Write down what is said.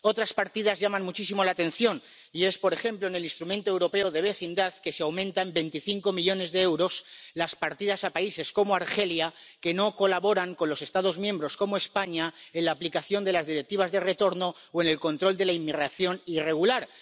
Otras partidas llaman muchísimo la atención por ejemplo, en el Instrumento Europeo de Vecindad, se aumentan en 25 millones de euros las partidas a países como Argelia, que no colaboran con los Estados miembros, como España, en la aplicación de la Directiva de retorno o en el control de la inmigración irregular